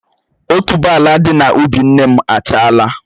Otuboala dị na ubi nne m achala